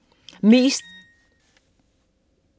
Mest læste lydbøger